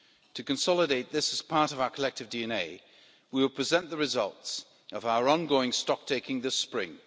To consolidate this as part of our collective DNA, we will present the results of our ongoing stocktaking this spring.